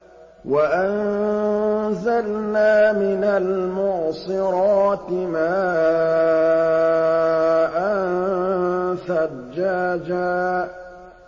وَأَنزَلْنَا مِنَ الْمُعْصِرَاتِ مَاءً ثَجَّاجًا